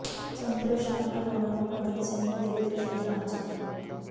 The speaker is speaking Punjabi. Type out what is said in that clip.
ਸੁੰਦਰ ਸ਼ਾਮ ਅਰੋੜਾ ਨੇ ਭਗਤ ਸਿੰਘ ਨੂੰ ਦਿੱਤੀ ਸ਼ਰਧਾਂਜਲੀ